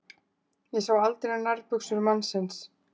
Ég sá aldrei nærbuxur mannsins.